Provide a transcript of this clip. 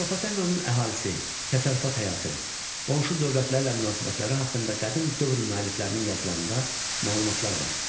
Atropatenanın əhalisi, təsərrüfat həyatı, qonşu dövlətlərlə münasibətləri haqqında qədim dövr müəlliflərinin yazılarında məlumatlar var.